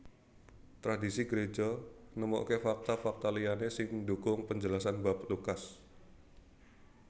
Tradhisi Gréja nemoke fakta fakta liyané sing ndukung penjelasan bab Lukas